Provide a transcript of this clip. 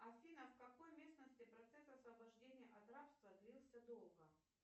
афина в какой местности процесс освобождения от рабства длился долго